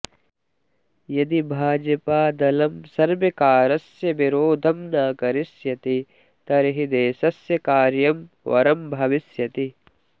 यदि भाजपदलं सर्वकारस्य विरोधं न करिष्यति तर्हि देशस्य कार्यं वरं भविष्यति